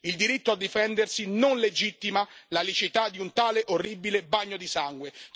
Il diritto a difendersi non legittima la liceità di un tale orribile bagno di sangue.